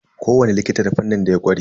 Ko wani likita da fannin da ya ƙware.